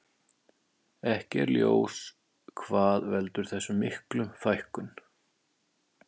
Ekki er ljós hvað veldur þessar miklu fækkun.